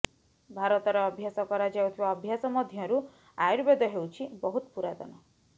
ଭାରତରେ ଅଭ୍ୟାସ କରା ଯାଉଥିବା ଅଭ୍ୟାସ ମଧ୍ୟରୁ ଆୟୁର୍ବେଦ ହେଉଛି ବହୁତ ପୁରାତନ